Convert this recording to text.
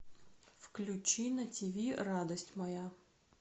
включи на тиви радость моя